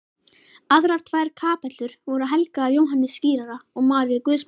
Aðrar tvær kapellur voru helgaðar Jóhannesi skírara og Maríu guðsmóður.